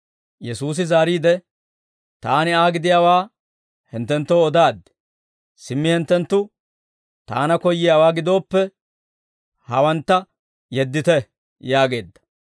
Yesuusi zaariide, «Taani Aa gidiyaawaa hinttenttoo odaaddi; simmi hinttenttu Taana koyyiyaawaa gidooppe, hawantta yeddite» yaageedda.